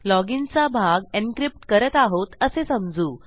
login चा भाग encryptकरत आहोत असे समजू